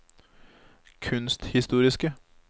kunsthistoriske